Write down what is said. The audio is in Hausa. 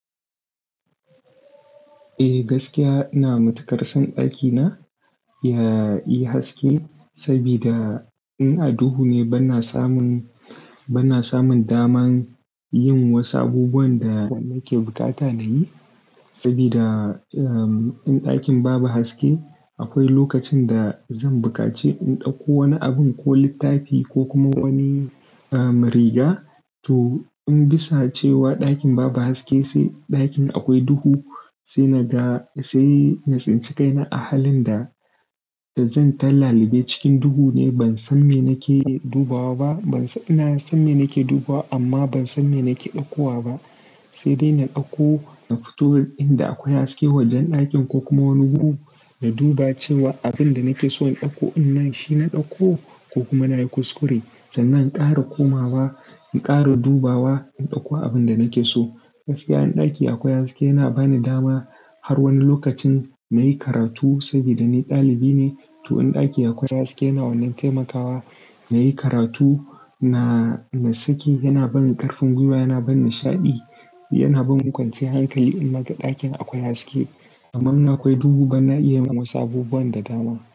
Eh, gaskiya ina matuƙar son ɗakina yayi haske sabida in duhu ne bana samun, bana samun daman yin wasu abubuwan da nake bukata na yi. Saboda, um, in ɗakin babu haske akwai lokacin da zan buƙaci in ɗauko wani abin ko littafi ko kuma wani, um, riga to in bisa cewa ɗakin babu haske sai ɗakin akwai duhu sai na ga-- sai natsinci kai na a halin da zan ta lalibe cikin duhu ne ban san me nake dubawa ba. Ban sa-- ina san me nake dubawa amma ban san me nake ɗauko ba. Sai dai na ɗauko na fito in da akwai haske wajen ɗakin ko kuma wani gudu na duba cewa abin da nake so in ɗauko in nan shi na ɗauko ko kuma na yi kuskure sannan in ƙara komawa in ƙara dubawa in ɗauko abin da nake so. Gaskiya in ɗaki akwai haske yana bani dama har wani lokacin na yi karatu saboda ni ɗalibi ne. To in ɗaki akwai haske yana wannan taimakawa na yi karatu na, na saki yana bani ƙarfin gwiwa, yana bani nishaɗi, yana bani kwanciyar hankali in naga ɗakin akwai haske. Amma in akwai duhu bana iya yin wasu abubuwan da dama.